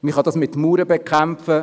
Man kann dies mit Mauern bekämpfen.